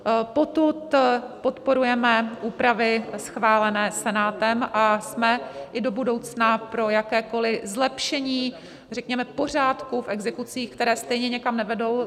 Potud podporujeme úpravy schválené Senátem a jsme i do budoucna pro jakékoli zlepšení řekněme pořádku v exekucích, které stejně nikam nevedou.